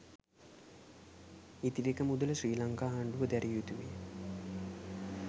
ඉතිරික මුදල ශ්‍රී ලංකා ආණ්ඩුව දැරිය යුතු වේ